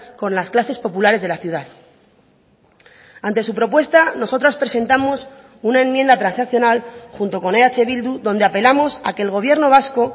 con las clases populares de la ciudad ante su propuesta nosotras presentamos una enmienda transaccional junto con eh bildu donde apelamos a que el gobierno vasco